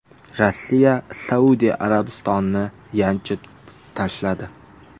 Rossiya Saudiya Arabistonini yanchib tashladi.